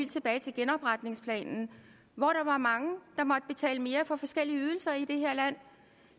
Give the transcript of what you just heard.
tilbage til genopretningsplanen hvor der var mange i mere for forskellige ydelser